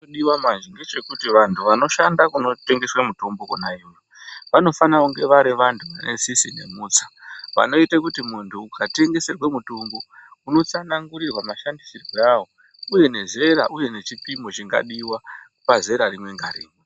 Chinodiva manje ngechekuti vantu vanoshanda kunotengeswa mutombo kona iyoyo. Vanofana kunge vari vantu vanetsitsi nemutsa vanoite kuti muntu ukatendeserwe mutombo unotsanangurirwa mashandisirwere avo, uye nezera, uye nechipimo chinodiva pazera rimwe ngarimwe.